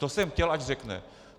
To jsem chtěl, ať řekne.